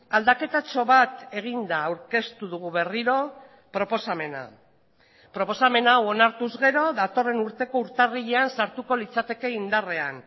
aldaketatxo bat eginda aurkeztu dugu berriro proposamena proposamen hau onartuz gero datorren urteko urtarrilean sartuko litzateke indarrean